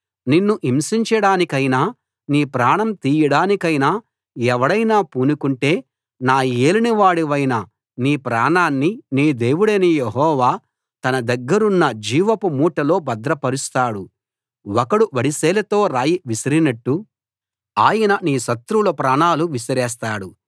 నిన్ను హింసించడానికైనా నీ ప్రాణం తీయడానికైనా ఎవడైనా పూనుకుంటే నా యేలినవాడవైన నీ ప్రాణాన్ని నీ దేవుడైన యెహోవా తన దగ్గరున్న జీవపుమూటలో భద్రపరుస్తాడు ఒకడు వడిసెలతో రాయి విసరినట్టు ఆయన నీ శత్రువుల ప్రాణాలు విసిరేస్తాడు